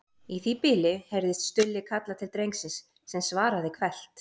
Í því bili heyrðist Stulli kalla til drengsins sem svaraði hvellt